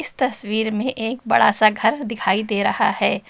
इस तस्वीर में एक बड़ा सा घर दिखाई दे रहा है।